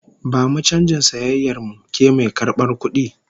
Bamu canjin sayayyar mu, ke mai karbar kudi!